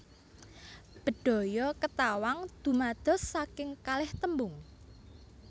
Bedhaya Ketawang dumados saking kalih tembung